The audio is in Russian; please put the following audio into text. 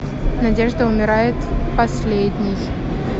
надежда умирает последней